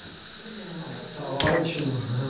Não, está ótimo.